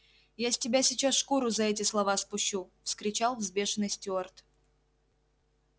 я с тебя сейчас шкуру за эти слова спущу вскричал взбешённый стюарт